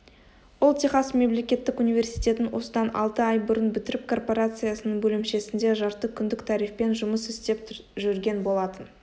ол техас мемлекеттік университетін осыдан алты ай бұрын бітіріп корпорациясының бөлімшесінде жарты күндік тарифпен жұмыс істеп жүрген болатын